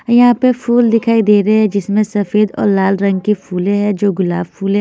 यहाँ पे फूल दिखाई दे रहे हैं जिसमें सफेद और लाल रंग की फूलें हैं जो गुलाब फूले--